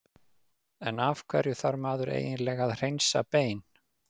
En af hverju þarf maður eiginlega að hreinsa bein?